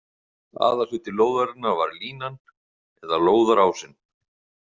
Aðalhluti lóðarinnar var línan, eða lóðarásinn.